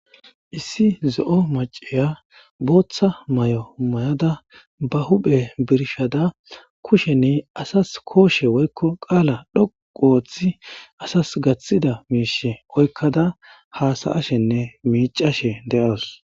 Issi zo'o maceya booththa may'o may'oda ba huphe birshada kusheni asas kooshe woykko qaala dhoqu ooththi asas gaththida miishe oykkada haasayashenne miicashe de'oos